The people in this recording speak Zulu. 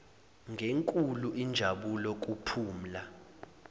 ngenkulu injabulo kuphumla